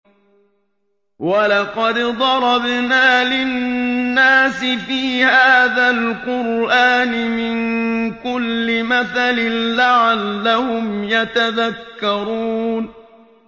وَلَقَدْ ضَرَبْنَا لِلنَّاسِ فِي هَٰذَا الْقُرْآنِ مِن كُلِّ مَثَلٍ لَّعَلَّهُمْ يَتَذَكَّرُونَ